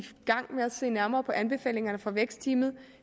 gang med at se nærmere på anbefalingerne fra vækstteamet